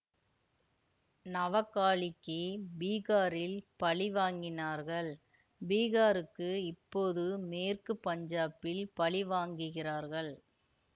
நவகாளிக்குப் பீஹாரில் பழி வாங்கினார்கள் பீஹாருக்கு இப்போது மேற்கு பஞ்சாபில் பழி வாங்குகிறார்கள்